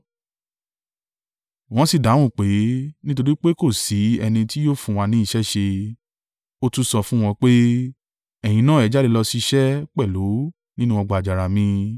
“Wọ́n sì dáhùn pé, ‘Nítorí pé kò sí ẹni tí yóò fún wa ní iṣẹ́ ṣe.’ “Ó tún sọ fún wọn pé, ‘Ẹ̀yin náà ẹ jáde lọ ṣiṣẹ́ pẹ̀lú nínú ọgbà àjàrà mi.’